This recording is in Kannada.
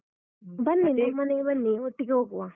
ಬನ್ನಿ, ನಮ್ಮನೆಗೆ ಬನ್ನಿ ಒಟ್ಟಿಗೆ ಹೋಗುವ.